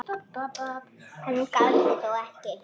Hann gaf sig þó ekki.